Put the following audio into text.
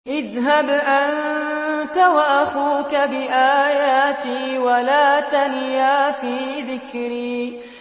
اذْهَبْ أَنتَ وَأَخُوكَ بِآيَاتِي وَلَا تَنِيَا فِي ذِكْرِي